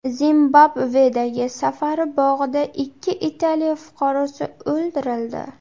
Zimbabvedagi safari bog‘ida ikki Italiya fuqarosi o‘ldirildi.